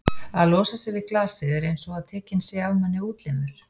að losa sig við glasið er einsog að tekinn sé af manni útlimur.